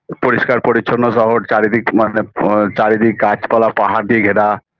পরিষ্কার পরিচ্ছন্ন শহর চারিদিক মানে আ চারিদিক গাছপালা পাহাড় দিয়ে ঘেরা